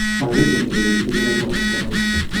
Mogigen kele kiibek hatua noton au.